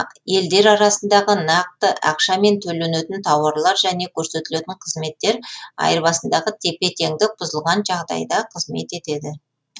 елдер арасындағы нақты ақшамен төленетін тауарлар және көрсетілетін қызметтер айырбасындағы тепе тендік бұзылған жағдайда қызмет етеді